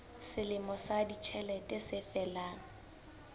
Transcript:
selemo sa ditjhelete se felang